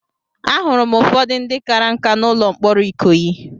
Ahụrụ m ụfọdụ ndị kara nkà n'ụlọ mkpọrọ Ikoyi.